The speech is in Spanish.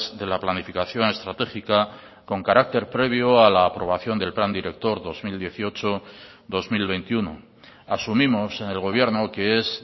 de la planificación estratégica con carácter previo a la aprobación del plan director dos mil dieciocho dos mil veintiuno asumimos en el gobierno que es